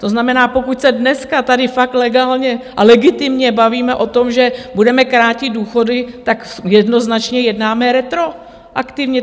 To znamená, pokud se dneska tady fakt legálně a legitimně bavíme o tom, že budeme krátit důchody, tak jednoznačně jednáme retroaktivně.